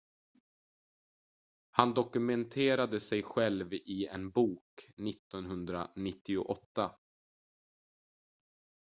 han dokumenterade sig själv i en bok 1998